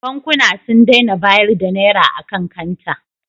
Bankuna sun daina bayar da Naira a kan kanta.